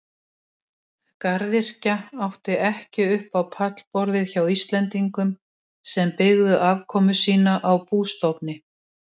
Garðyrkja átti ekki upp á pallborðið hjá Íslendingum sem byggðu afkomu sína á bústofni.